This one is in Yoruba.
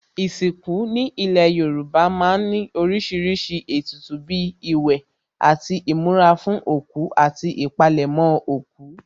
Ìsìnkú ní ilé Yorùbá má ń ní oríṣiríṣi ètùtù bíi ìwẹ̀ àti ìmura fún òkú àti ìpalẹ̀mọ́ òkú